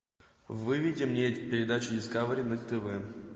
выведи мне передачу дискавери на тв